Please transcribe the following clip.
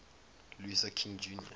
luther king jr